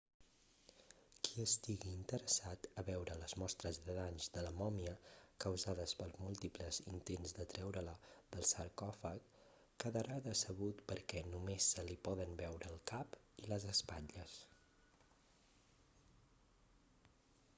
qui estigui interessat a veure les mostres de danys de la mòmia causades pels múltiples intents de treure-la del sarcòfag quedarà decebut perquè només se li poden veure el cap i les espatlles